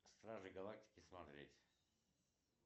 стражи галактики смотреть